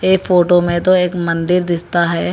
ये फोटो में तो एक मंदिर दिसता है।